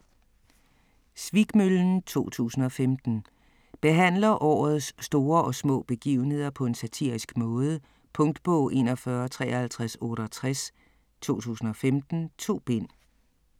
Svikmøllen 2015 Behandler årets store og små begivenheder på en satirisk måde. Punktbog 415368 2015. 2 bind.